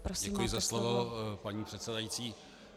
Děkuji za slovo, paní předsedající.